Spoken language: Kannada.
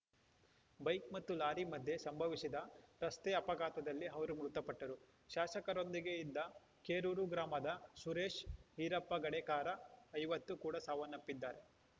ಬೈಕ್‌ ಮತ್ತು ಲಾರಿ ಮಧ್ಯೆ ಸಂಭವಿಸಿದ ರಸ್ತೆ ಅಪಘಾತದಲ್ಲಿ ಅವರು ಮೃತಪಟ್ಟರು ಶಾಸಕರೊಂದಿಗೆ ಇದ್ದ ಕೇರೂರ ಗ್ರಾಮದ ಸುರೇಶ ಈರಪ್ಪ ಗಡೇಕಾರ ಐವತ್ತು ಕೂಡ ಸಾವನ್ನಪ್ಪಿದ್ದಾರೆ